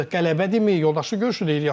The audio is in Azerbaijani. Qələbədirmi yoldaşlıq görüşüdür axı biz?